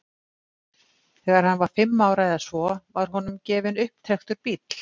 Þegar hann var fimm ára eða svo var honum gefinn upptrekktur bíll.